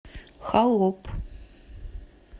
холоп